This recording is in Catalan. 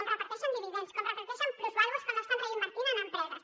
com reparteixen dividends com reparteixen plusvàlues que no estan invertint en empreses